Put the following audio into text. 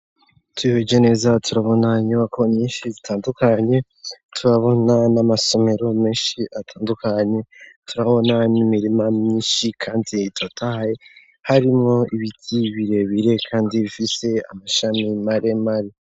Tuyiweje neza turabona nyuwa ko nyinshi zitandukanye tubabona n'amasomero menshi atandukanye turabonamimirima myinshi, kandi itatahaye harimwo ibidyi birebire, kandi bifise amashami mare mare.